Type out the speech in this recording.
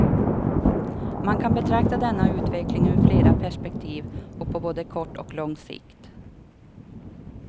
Man kan betrakta denna utveckling ur flera perspektiv och på både kort och lång sikt.